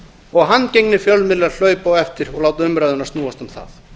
og handgengnir fjölmiðlar hlaupa á eftir og láta umræðuna snúast um það